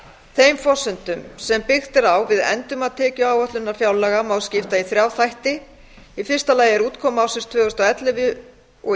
þeim forsendum sem byggt er á við endurmat tekjuáætlunar fjárlaga má skipta í þrjá þætti í fyrsta lagi er útkoma ársins tvö þúsund og ellefu